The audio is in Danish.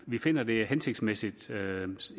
vi finder at det er hensigtsmæssigt